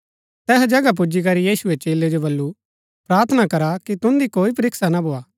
तैहा जगह पुजीकरी यीशुऐ चेलै जो बल्लू प्रार्थना करा की तुन्दी कोई परीक्षा ना भोआ